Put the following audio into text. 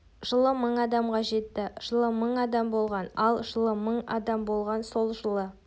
жылы мың адамға жетті жылы мың адам болған ал жылы мың адам болған сол жылы